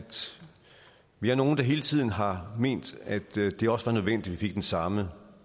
vi er nogle der hele tiden har ment at det det også var nødvendigt at vi fik den samme